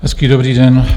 Hezký dobrý den.